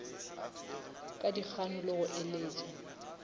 ka dikgano le go eletša